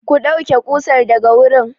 Ku ɗauke ƙusar daga wurin!